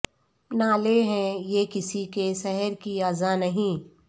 نالے ہیں یہ کسی کے سحر کی اذاں نہیں